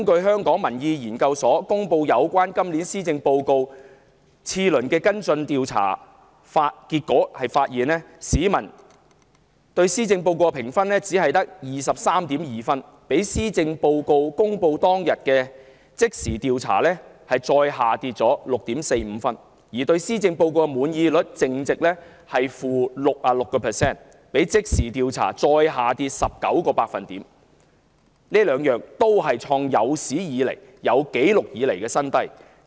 香港民意研究所就今年施政報告進行次輪跟進調查，結果顯示市民對施政報告的滿意度評分只有 23.2 分，比施政報告公布當天的即時調查低 6.45 分；對施政報告的滿意率淨值是負66個百分點，比即時調查再下跌19個百分點，兩者皆創有紀錄以來的新低。